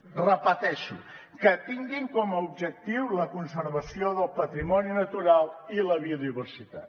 ho repeteixo que tinguin com a objectiu la conservació del patrimoni natural i la biodiversitat